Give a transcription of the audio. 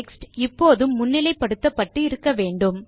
text இப்போதும் முன்னிலை படுத்தப்பட்டு இருக்க வேண்டும்